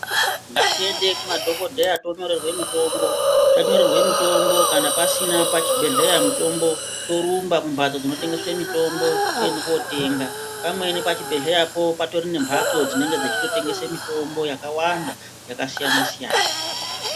Ngatiende kumadhokodheya tonyorerwe mitombo, tanyorerwe mitombo kana pasina pachibhehleya mitombo torumba kumhatso dzinotengese mitombo toende kootenga ,pamweni pachibhehleyapo patori nemhatso dzinenge dzeitotengese mitombo yakawanda yakasiyana siyana.